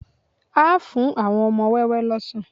A fún àwọn wọn ọmọ wẹ́wẹ́ lọ́sàn